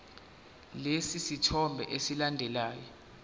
lesi sithombe esilandelayo